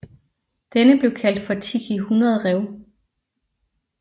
Denne blev kaldt for Tiki 100 Rev